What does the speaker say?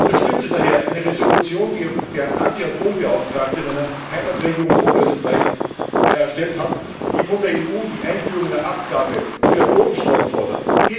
Ich unterstütze daher eine Entschließung, die der Anti Atom Beauftragte meiner Heimatregion Oberösterreich erstellt hat und die von der EU die Einführung einer Abgabe für Atomstrom fordert.